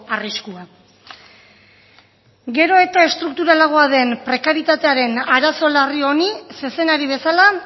arriskua gero eta estrukturalagoa den prekarietatearen arazo larri honi zezenari bezala